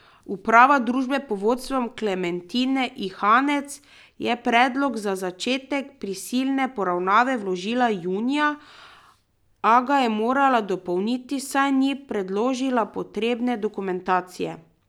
Uprava družbe pod vodstvom Klementine Ihanec je predlog za začetek prisilne poravnave vložila junija, a ga je morala dopolniti, saj ni predložila potrebne dokumentacije.